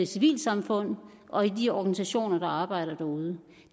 civilsamfund og i de organisationer der arbejder derude